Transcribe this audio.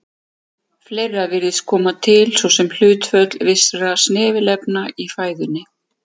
Fleira virðist koma til, svo sem hlutföll vissra snefilefna í fæðunni.